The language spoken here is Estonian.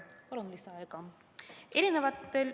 Palun lisaaega!